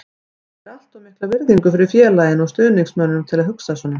Ég ber allt of mikla virðingu fyrir félaginu og stuðningsmönnunum til að hugsa svona.